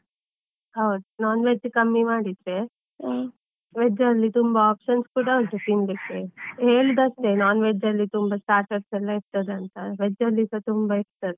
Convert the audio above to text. ಹೌದು, non veg ಕಮ್ಮಿ ಮಾಡಿದ್ರೆ, veg ಅಲ್ಲಿ ತುಂಬಾ options ಕೂಡಾ ಉಂಟು ತಿನ್ಲಿಕ್ಕೆ. ಹೇಳುದು ಅಷ್ಟೇ, non veg ಅಲ್ಲಿ ತುಂಬಾ starters ಎಲ್ಲಾ ಇರ್ತದೆ ಅಂತ ಆದ್ರೆ veg ಅಲ್ಲಿಸ ತುಂಬಾ ಇರ್ತದೆ.